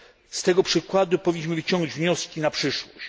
Z tego przykładu powinniśmy wyciągnąć wnioski na przyszłość.